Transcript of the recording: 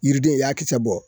Yiriden i y'a kisɛ bɔ